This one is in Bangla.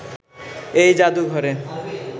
এই জাদুঘরে